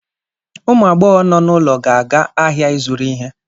Ụmụ agbọghọ nọ n'ụlọ ga-aga ahịa ịzụrụ ihe